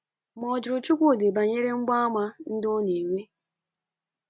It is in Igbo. Ma ọ jụrụ Chuwudi banyere mgbaàmà ndị ọ na - enwe.